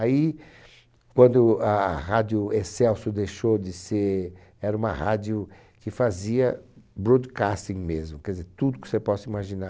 Aí, quando a Rádio Excelsior deixou de ser... Era uma rádio que fazia broadcasting mesmo, quer dizer, tudo que você possa imaginar.